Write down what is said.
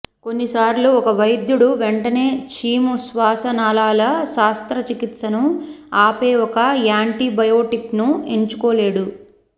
కొన్నిసార్లు ఒక వైద్యుడు వెంటనే చీము శ్వాసనాళాల శస్త్రచికిత్సను ఆపే ఒక యాంటీబయాటిక్ను ఎంచుకోలేడు